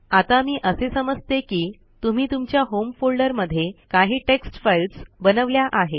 आता मी असे समजते की तुम्ही तुमच्या होम फोल्डरमध्ये काही टेक्स्ट फाईल्स बनवल्या आहेत